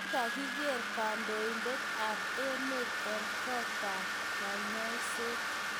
kikakiker kandoindet ab emet eng kot ab konyaiset